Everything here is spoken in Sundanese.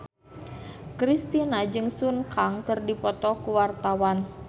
Kristina jeung Sun Kang keur dipoto ku wartawan